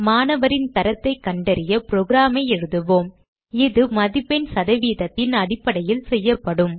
மாணவரின் தரத்தைக் கண்டறிய program ஐ எழுதுவோம் இது மதிப்பெண் சதவீதத்தின் அடிப்படையில் செய்யப்படும்